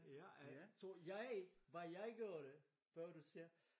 Ja øh så jeg hvad jeg gjorde før du siger